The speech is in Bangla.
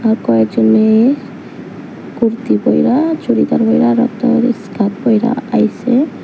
আর কয়েকজন মেয়ে কুর্তি পইড়া চুড়িদার পইড়া স্কার্ট পইড়া আইসে।